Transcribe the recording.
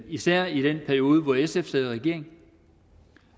især i den periode hvor sf sad i regering